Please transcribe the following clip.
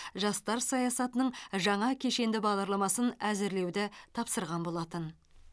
жастар саясатының жаңа кешенді бағдарламасын әзірлеуді тапсырған болатын